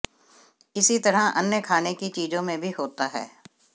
इसी तरह अन्य खाने की चीजों में भी होता है